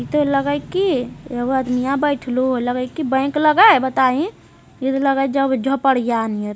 इते लगई की एगो आदमियां बेठलो लगई की बैंक लगा है बताईं इ ते लगे जब झोपड़ियाँ